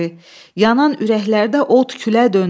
Yanan ürəklərdə od külə döndü.